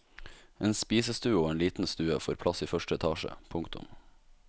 En spisestue og en liten stue får plass i første etasje. punktum